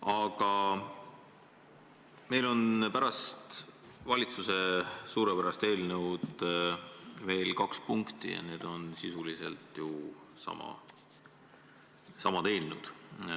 Aga meil on pärast valitsuse suurepärast eelnõu ees veel kaks punkti ja need on sisuliselt samad eelnõud.